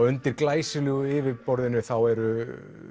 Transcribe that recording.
undir glæsilegu yfirborðinu eru